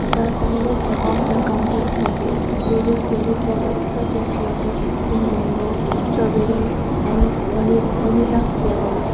the sign is above the counter showcase various dairy products such as yogurt in mango strawberry and vani vanilla flavour.